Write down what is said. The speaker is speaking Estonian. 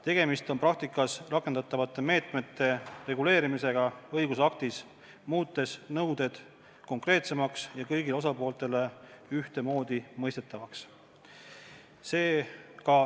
Tegemist on praktikas rakendatavate meetmete reguleerimisega õigusaktis, muutes nõuded konkreetsemaks ja kõigile osapooltele ühtemoodi mõistetavaks.